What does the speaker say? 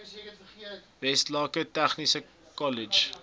westlake tegniese kollege